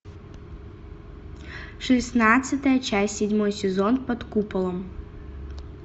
шестнадцатая часть седьмой сезон под куполом